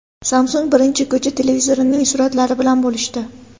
Samsung birinchi ko‘cha televizorining suratlari bilan bo‘lishdi.